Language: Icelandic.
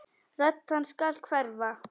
Rödd hans skal hverfa.